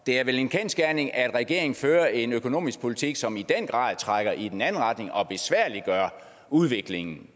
er vel en kendsgerning at regeringen fører en økonomisk politik som i den grad trækker i den anden retning og besværliggør udviklingen